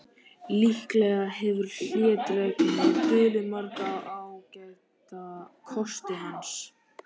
Líklega hefur hlédrægni dulið marga ágæta kosti hans.